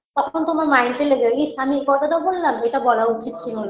তখন তোমার mind -এ লেগে ইস আমি এই কথাটা বললাম এটা বলা উচিত ছিল না